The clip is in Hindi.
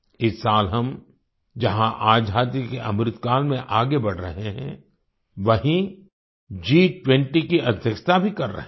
इस साल हम जहाँ आजादी के अमृतकाल में आगे बढ़ रहे हैं वहीं G20 की अध्यक्षता भी कर रहे हैं